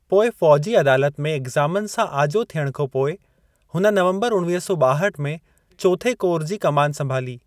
पोइ फ़ौजी अदालत में इक्ज़ामनि सां आजो थियण खां पोइ, हुन नवंबर उणवीह सौ ॿाहठि में चोथे कोर जी कमानु संभाली।